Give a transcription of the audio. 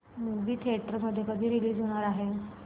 movie theatre मध्ये कधी release होणार आहे